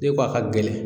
N'i ko a ka gɛlɛn